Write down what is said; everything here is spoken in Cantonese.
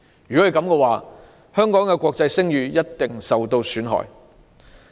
這樣，香港的國際聲譽一定受到損害。